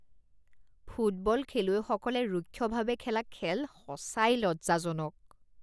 football খেলুৱৈসকলে ৰুক্ষভাৱে খেলা খেল সঁচাই লজ্জাজনক